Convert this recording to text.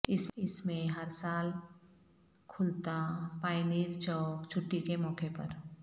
اس میں ہر سال کھولتا پاینیر چوک چھٹی کے موقع پر